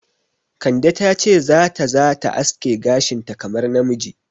Kande ta ce za ta za ta aske gashinta kamar namiji.